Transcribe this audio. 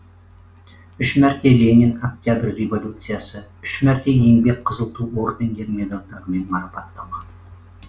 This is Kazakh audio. үш мәрте ленин октябрь революциясы үш мәрте еңбек қызыл ту ордендері медальдармен марапатталған